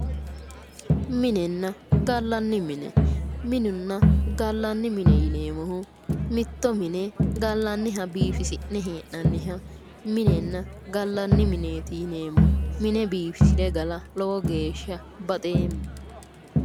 Minenna gallanni mine, minunna gallanni mine yineemmohu mitto mine gallanniha biifisi'ne hee'nanniha minenna gallaanni mineeti yineemmo. Mine biifisire gala lowo geeshsha baxeemma.